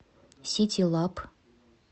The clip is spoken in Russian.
ситилаб